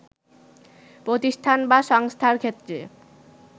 প্রতিষ্ঠান বা সংস্থার ক্ষেত্রে